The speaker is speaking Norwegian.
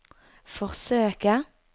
forsøke